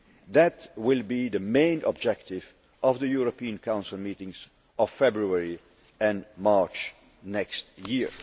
That will be the main objective of the European Council meetings of February and March next year.